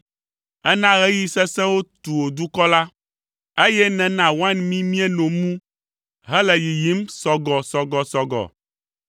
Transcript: Èna ɣeyiɣi sesẽwo tu wò dukɔ la, eye nèna wain mí míeno mu hele yiyim sɔgɔsɔgɔsɔgɔ.